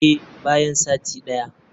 Eh, bayan sati daya.